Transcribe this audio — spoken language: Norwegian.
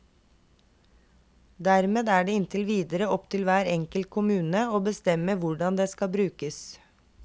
Dermed er det inntil videre opp til hver enkelt kommune å bestemme hvordan det skal brukes.